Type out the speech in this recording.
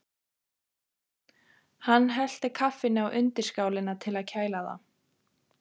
Hann hellti kaffinu á undirskálina til að kæla það.